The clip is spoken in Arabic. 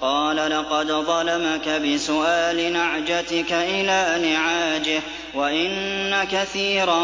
قَالَ لَقَدْ ظَلَمَكَ بِسُؤَالِ نَعْجَتِكَ إِلَىٰ نِعَاجِهِ ۖ وَإِنَّ كَثِيرًا